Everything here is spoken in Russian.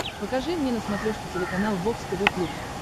покажи мне на смотрешке телеканал бокс тв плюс